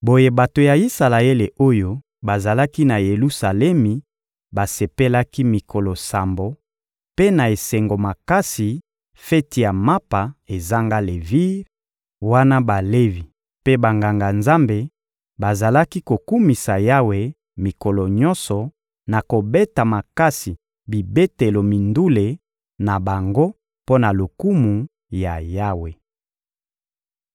Boye bato ya Isalaele oyo bazalaki na Yelusalemi basepelaki mikolo sambo mpe na esengo makasi feti ya Mapa ezanga levire wana Balevi mpe Banganga-Nzambe bazalaki kokumisa Yawe mikolo nyonso na kobeta makasi bibetelo mindule na bango mpo na lokumu ya Yawe.